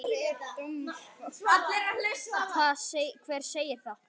Hver segir það?